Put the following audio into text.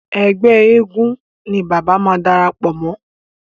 Ẹgbẹ́ eégún ni bàbá máa darapọ̀ mọ́..